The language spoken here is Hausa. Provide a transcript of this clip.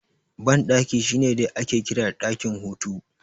Banɗaki shine dai ake kira da ɗakin hutu